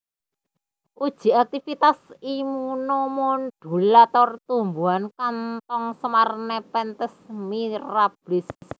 Uji aktivitas immunomodulator tumbuhan kantong semar Nepenthes mirablis